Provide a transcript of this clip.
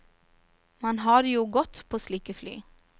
Man har det jo godt på slike fly.